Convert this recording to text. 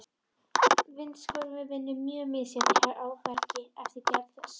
Vindsvörfun vinnur mjög misjafnt á bergi eftir gerð þess.